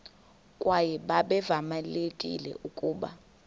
kwaye babevamelekile ukuba